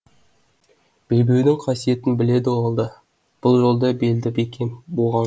белбеудің қасиетін біледі ол да бұл жолда белді бекем буған